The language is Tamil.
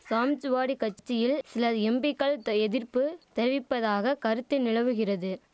சாம்ச்வாடி கட்சியில் சில எம்பிக்கள் எதிர்ப்பு தெரிவிப்பதாக கருத்து நிலவுகிறது